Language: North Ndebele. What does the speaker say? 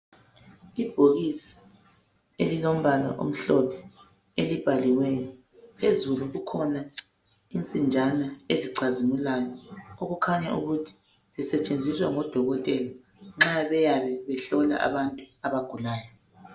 Ibhokisi elilombala omhlophe elibhaliweyo. Phezulu kukhona insinjana ezicazimulayo .Okukhanya ukuthi zisetshenziswa ngodokotela nxa beyabe behlola abantu abagulayo .